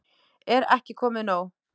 Er ekki komið nóg?